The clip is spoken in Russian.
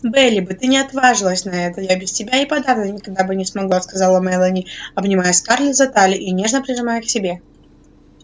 бели бы ты не отважилась на это я без тебя и подавно никогда бы не смогла сказала мелани обнимая скарлетт за талию и нежно прижимая к себе